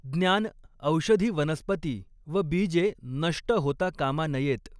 ज्ञान, औषधी वनस्पती व बीजे नष्ट होता कामा नयेत.